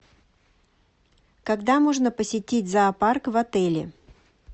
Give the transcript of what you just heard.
когда можно посетить зоопарк в отеле